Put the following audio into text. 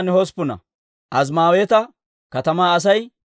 Maagibiisha katamaa Asay 156.